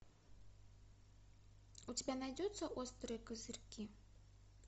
у тебя найдется острые козырьки